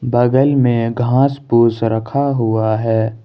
बागल में घास पूस रखा हुआ है।